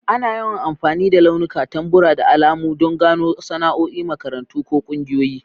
Ana yawan amfani da launuka, tambura, da alamu don gano sana'o'i, makarantu, ko ƙungiyoyi.